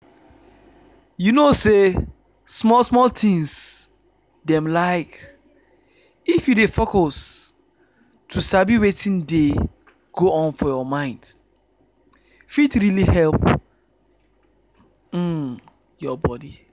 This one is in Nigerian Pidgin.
you know say small small thing dem like if you dey focus to sabi wetin dey go on for your mind fit really help um your body.